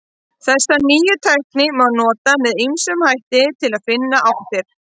Þessa nýju tækni má nota með ýmsum hætti til að finna áttirnar.